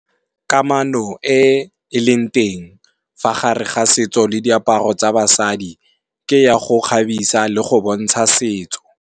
Kamano e e leng teng fa gare ga setso le diaparo tsa basadi, ke ya go kgabisa le go bontsha setso.